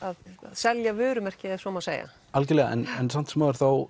selja vörumerki ef svo má segja algjörlega en samt sem áður þá